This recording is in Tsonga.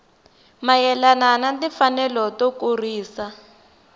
mayelana na timfanelo to kurisa